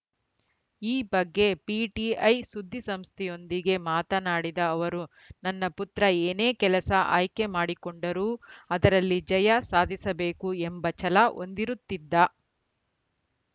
ಈ ಬಗ್ಗೆ ಪಿಟಿಐ ಸುದ್ದಿಸಂಸ್ಥೆಯೊಂದಿಗೆ ಮಾತನಾಡಿದ ಅವರು ನನ್ನ ಪುತ್ರ ಏನೇ ಕೆಲಸ ಆಯ್ಕೆ ಮಾಡಿಕೊಂಡರೂ ಅದರಲ್ಲಿ ಜಯ ಸಾಧಿಸಬೇಕು ಎಂಬ ಛಲ ಹೊಂದಿರುತ್ತಿದ್ದ